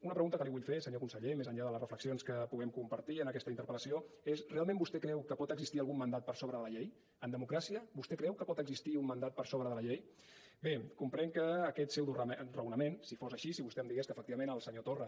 una pregunta que li vull fer senyor conseller més enllà de les reflexions que puguem compartir en aquesta interpel·lació és realment vostè creu que pot existir algun mandat per sobre de la llei en democràcia vostè creu que pot existir un mandat per sobre de la llei bé comprenc que aquest pseudoraonament si fos així si vostè em digués que efectivament el senyor torra